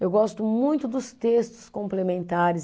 Eu gosto muito dos textos complementares.